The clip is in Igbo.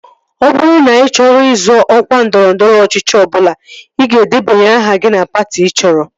Ọ bụrụ na ị chọrọ izọ ọkwa ndọrọndọrọ ọchịchị ọbụla, ị ga-edebanye aha gị na patị ị chọrọ